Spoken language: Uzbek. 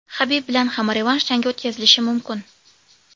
Habib bilan ham revansh jangi o‘tkazilishi mumkin.